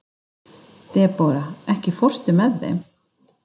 Debóra, ekki fórstu með þeim?